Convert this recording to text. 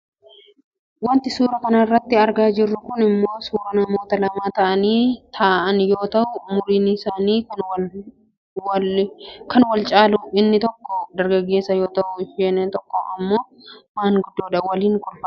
Wanti suuraa kanarratti argaa jirru kun ammoo suuraa namoota lama ta'anii ta'aan yoo ta'u umuriin isaanii kan wal caaludha. Inni tokko dargaggeessa yoo ta'u isheen tokkommoo maanguddoodha. Waliin kolfaa jiru.